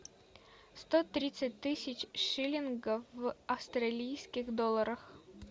сто тридцать тысяч шиллингов в австралийских долларах